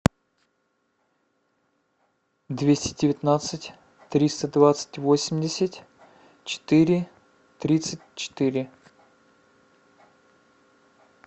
двести девятнадцать триста двадцать восемьдесят четыре тридцать четыре